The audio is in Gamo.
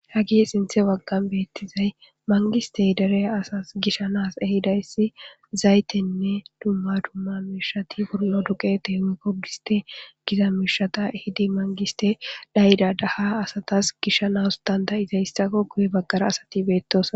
Hagihe sinthe waggan beettizay mangistey dere asas gishanas ehidayssi zaytenne dumma dumma mishati hurlo duqete h kogiste giza mishata hidi mangiste dhayda daha asatas gishanas dandayizay issako kuye baggara asati beettos